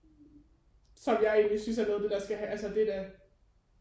Som jeg egentlig synes er noget af det der skal altså det er da